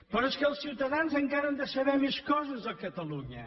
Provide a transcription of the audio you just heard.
però és que els ciutadans encara han de saber més coses a catalunya